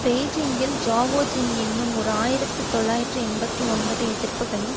பெய்ஜிங்கில் Zhao Jin என்னும் ஓர் ஆயிரத்தி தொள்ளாயிரத்து எண்பத்தி ஒன்பது எதிர்ப்புக்களின்